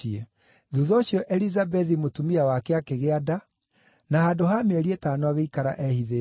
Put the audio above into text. Thuutha ũcio Elizabethi mũtumia wake akĩgĩa nda, na handũ ha mĩeri ĩtano agĩikara ehithĩte.